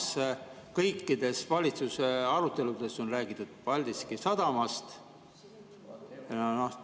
Samas on kõikides valitsuse aruteludes räägitud Paldiski sadamast.